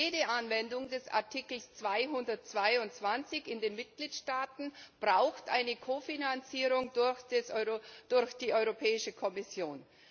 Jede Anwendung des Artikels 222 in den Mitgliedstaaten braucht eine Kofinanzierung durch die Europäische Kommission.